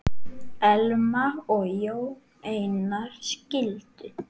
Elma og Jón Einar skildu.